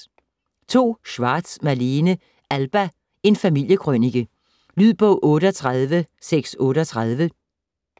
Schwartz, Malene: Alba: en familiekrønike Lydbog 38638